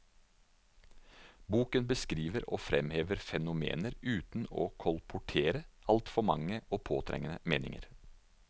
Boken beskriver og fremhever fenomener uten å kolportere altfor mange og påtrengende meninger.